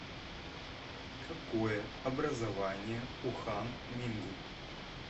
какое образование у хан мингу